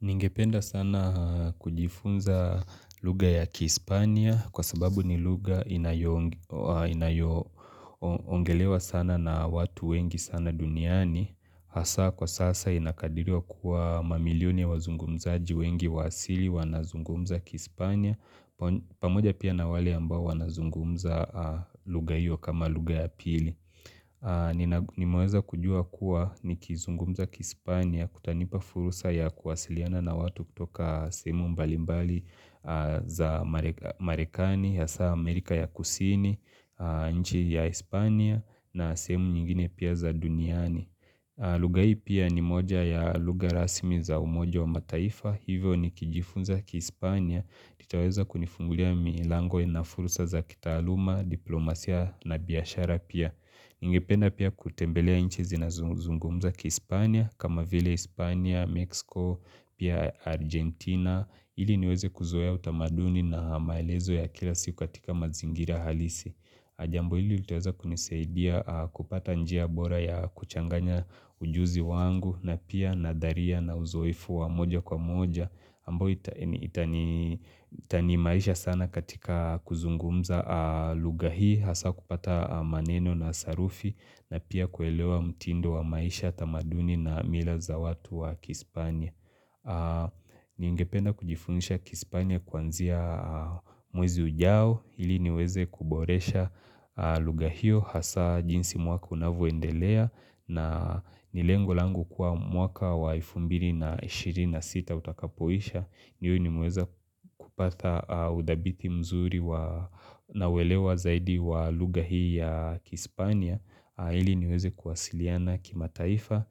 Ningependa sana kujifunza lugha ya Kihispania kwa sababu ni lugha inayoong inayongelewa sana na watu wengi sana duniani. Hasa kwa sasa inakadiriwa kuwa mamilioni ya wazungumzaji wengi wa asili wanazungumza Kihispania. Pamoja pia na wale ambao wanazungumza lugha hiyo kama lugha ya pili. Nina Nimeweza kujua kuwa nikizungumza kihispania kutanipa fursa ya kuwasiliana na watu kutoka sehemu mbalimbali za marekani hasa Amerika ya Kusini, nchi ya Hispania na sehemu nyingine pia za duniani lugha hii pia ni moja ya lugha rasmi za umoja wa mataifa hivyo nikijifunza kihispania kitaweza kunifungulia milango na fursa za kitaaluma, diplomasia na biashara pia Ningependa pia kutembelea inchizi nazozungumza kih Ispania kama vile Ispania, Mexico, pia Argentina ili niweze kuzoea utamaduni na maelezo ya kila siku katika mazingira halisi Ajambo ili litaweza kunisaidia kupata njia bora ya kuchanganya ujuzi wangu na pia nadharia na uzoefu wa moja kwa moja ambao itani itaniimarisha sana katika kuzungumza lugha hii Hasa kupata maneno na sarufi na pia kuelewa mtindo wa maisha tamaduni na mila za watu wa Kihispania Ningependa kujifundisha Kihispania kwanzia mwezi ujao ili niweze kuboresha lugha hio hasa jinsi mwaka unavoendelea na ni lengo langu kua mwaka wa elfu mbili na shirini na sita utakapoisha niwe nimeweza kupata udhabiti mzuri na welewa zaidi wa lugha hii ya Kispania ili niweze kuwasiliana kima taifa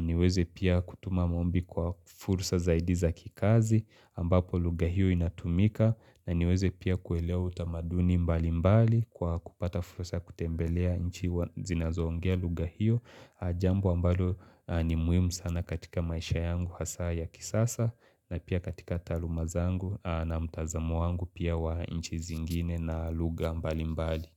niweze pia kutuma maombi kwa fursa zaidi za kikazi ambapo lughahio inatumika na niweze pia kuelewa utamaduni mbali mbali Kwa kupata fursa kutembelea nchi hua zinazoongea lugha hio Jambo ambalo ni muhimu sana katika maisha yangu hasa ya kisasa na pia katika taaluma zangu na mtazamo wangu pia wa inchi zingine na lugha mbali mbali.